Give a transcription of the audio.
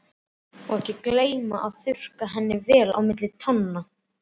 Og ekki gleyma að þurrka henni vel á milli tánna.